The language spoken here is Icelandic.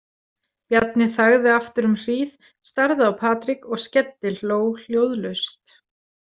Bjarni þagði aftur um hríð, starði á Patrik og skellihló hljóðlaust.